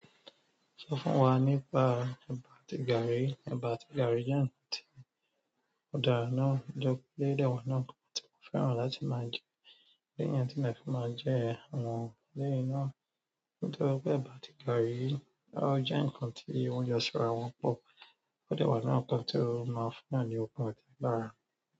Sọ fún wa nípa ẹ̀bà tí garri, ẹ̀bà àti garri jẹ ǹkan tí ó dára náà, nítorí pe o dẹ wa nínú nkan ti mo fẹ́ràn láti máa jẹ, lẹ́yìn tí mo fi máa jẹ àwọn ọ̀lẹ náà. Nítorí pé ẹ̀bà àti garri jẹ ǹkan tí ìwọ́n jọsọ̀ra wọn pọ̀, ó dẹ wa nínú nkan to maa n funyan ni okun àti agbára.